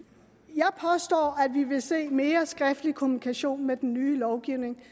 vi vil se mere skriftlig kommunikation med den nye lovgivning